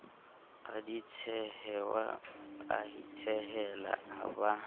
raditshehwane a itshehela a ba